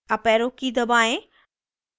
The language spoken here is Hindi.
अपarrow की दबाएं